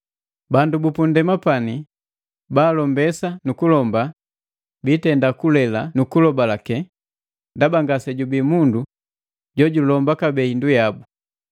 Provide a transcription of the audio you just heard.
Bandu bu pu nndema pani ba alombesa nukuheme biitenda kulela nukuhenga nu kugulobalake, ndaba ngase jubii mundu jo julomba kabee hindu yabu;